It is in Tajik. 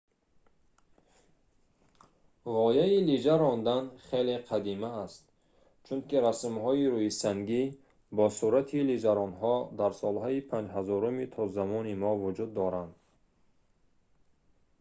ғояи лижа рондан хеле қадима аст чунки расмҳои рӯисангӣ бо сурати лижаронҳо дар солҳои 5000-уми то замони мо вуҷуд доранд